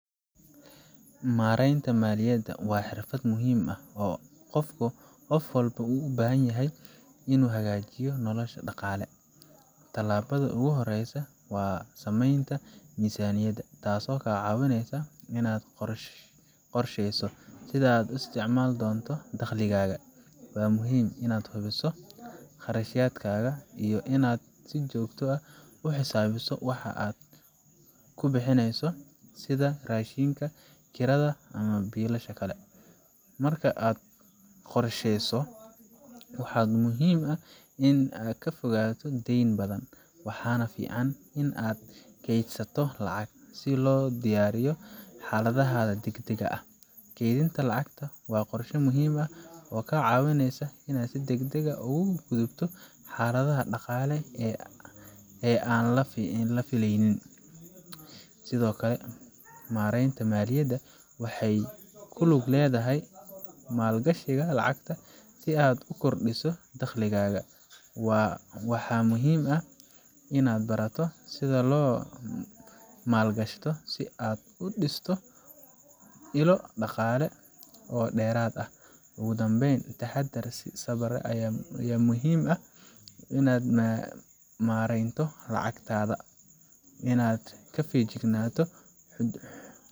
Maareynta maaliyadda waa xirfad muhiim ah oo qof walba uu u baahan yahay si uu u hagaajiyo noloshiisa dhaqaale. Tallaabada ugu horeysa waa sameynta miisaaniyad, taasoo kaa caawinaysa inaad qorsheyso sida aad u isticmaali doonto dakhligaaga. Waa muhiim inaad hubiso kharashyadaaga iyo inaad si joogto ah u xisaabiso waxa aad ku bixineyso, sida raashinka, kirada, iyo biilasha kale. Marka aad qorsheyso waxaa muhiim ah inaad ka fogaato dayn badan, waxaana fiican in aad kaydsato lacag si loo diyaariyo xaaladaha degdegga ah. Kaydinta lacagta waa qorshe muhiim ah oo kaa caawinaya inaad si deggan uga gudubto xaaladaha dhaqaale ee aan la filaynin. Sidoo kale, maareynta maaliyadda waxay ku lug leedahay maalgashiga lacagta si aad u kordhiso dakhligaaga. Waxaa muhiim ah in aad barato sida loo maalgashado, si aad u dhisto ilo dhaqaale oo dheeraad ah. Ugu dambeyn, taxaddar iyo sabir ayaa muhiim ah marka la maareynayo lacagta waa inaad ka feejignaato xadgudubyada dhaqaale, isla markaana si wanaagsan u qorsheysato mustaqbalkaaga maaliyadeed.